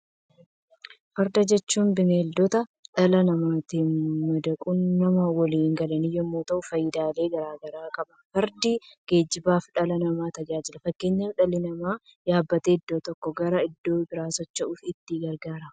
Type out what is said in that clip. Farda jechuun beeyladoota dhala namaatti madaquun nama woliin galan yemmuu ta'u faayidaalee garaa garaa qaba. Fardi geejjibaaf dhala namaa tajaajila. Fakkeenyaaf dhalli namaa yaabbatee iddoo tokkoo gara iddoo biraatti socho'uuf itti gargaarama.